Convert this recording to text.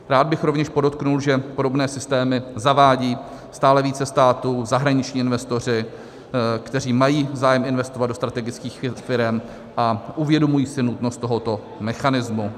Rád bych rovněž podotkl, že podobné systémy zavádí stále více států, zahraniční investoři, kteří mají zájem investovat do strategických firem a uvědomují si nutnost tohoto mechanismu.